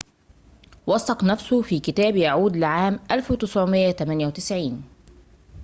وثّق نفسه في كتاب يعود لعام 1998